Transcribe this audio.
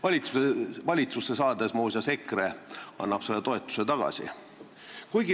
Kui EKRE valitsusse saab, siis ta muuseas annab selle toetuse tagasi.